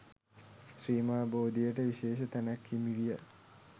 ශ්‍රී මහා බෝධියට විශේෂ තැනක් හිමිවිය.